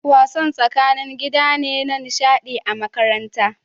Wasan tsakanin gida ne na nishaɗi a makaranta